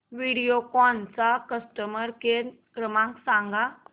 व्हिडिओकॉन चा customer care क्रमांक सांगा